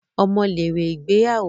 Ọmọ lèrè ìgbéyàwó